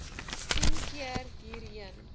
tien keer hierheen